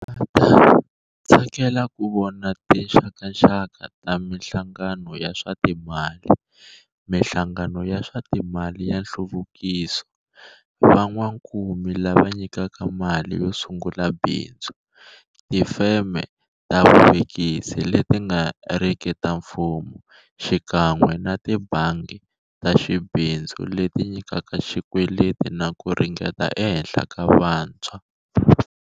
Va ta tsakela ku vona tinxakaxaka ta mihlangano ya swa timali, mihlangano ya swa timali ya nhluvukiso, van'wakumi lava nyikaka mali yo su ngula bindzu, tifeme ta vuvekisi leti nga riki ta mfumo xikan'we na tibangi ta xibindzu leti nyikaka xikweleti na ku ringeta ehenhla ka vantshwa.